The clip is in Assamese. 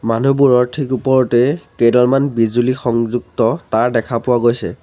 মানুহবোৰৰ ঠিক ওপৰতেই কেইডালমন বিজুলী সংযুক্ত তাঁৰ দেখা পোৱা গৈছে।